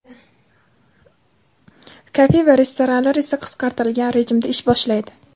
kafe va restoranlar esa qisqartirilgan rejimda ish boshlaydi.